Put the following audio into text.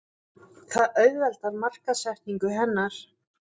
Það auðveldar markaðssetningu hennar.